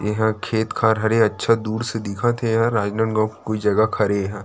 ए हर खेत-खार हरे अच्छा दूर से दिखत हे ये हर राजनाँदगाँव के कोई जगह हरे ए ह--